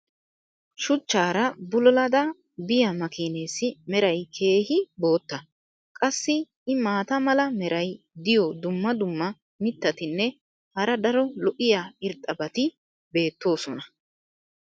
shuchchaara bulullada biya makiineessi meray keehi bootta. qassi i maata mala meray diyo dumma dumma mitatinne hara daro lo'iya irxxabati beetoosona.